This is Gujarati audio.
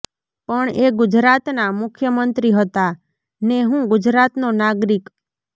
પણ એ ગુજરાતના મુખ્ય મંત્રી હતા ને હું ગુજરાતનો નાગરિક